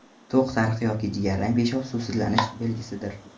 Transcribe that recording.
To‘q sariq yoki jigarrang peshob suvsizlanish belgisidir.